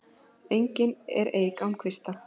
Engin er eik án kvista.